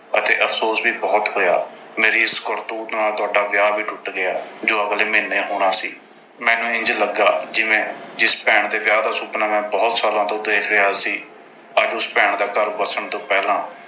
ਅਤੇ ਅਫ਼ਸੋਸ ਵੀ ਬਹੁਤ ਹੋਇਆ। ਮੇਰੀ ਇਸ ਕਰਤੂਤ ਨਾਲ ਤੁਹਾਡਾ ਵਿਆਹ ਵੀ ਟੁੱਟ ਗਿਆ ਜੋ ਅਗਲੇ ਮਹੀਨੇ ਹੋਣਾ ਸੀ। ਮੈਨੂੰ ਇੰਝ ਲੱਗਿਆ ਜਿਵੇਂ ਜਿਸ ਭੈਣ ਦੇ ਵਿਆਹ ਦਾ ਸੁਪਨਾ ਮੈਂ ਬਹੁਤ ਸਾਲਾਂ ਤੋਂ ਦੇਖ ਰਿਹਾ ਸੀ। ਅੱਜ ਉਸ ਭੈਣ ਦਾ ਘਰ ਵਸਣ ਤੋਂ ਪਹਿਲਾਂ